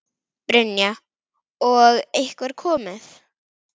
Brynja: Og einhver komið?